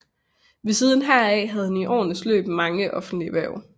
Ved siden heraf havde han i årenes løb mange offentlige hverv